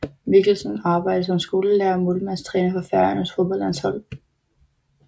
Mikkelsen arbejder som skolelærer og målmandstræner for Færøernes fodboldlandshold